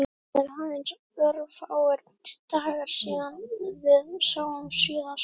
Það eru aðeins örfáir dagar síðan við sáumst síðast.